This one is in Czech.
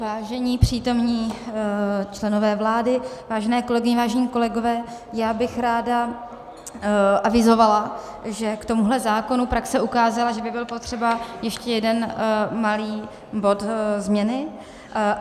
Vážení přítomní členové vlády, vážené kolegyně, vážení kolegové, já bych ráda avizovala, že k tomuhle zákonu praxe ukázala, že by byl potřeba ještě jeden malý bod změny.